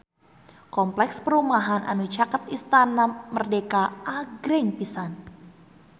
Kompleks perumahan anu caket Istana Merdeka agreng pisan